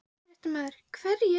Fréttamaður: Hverjir?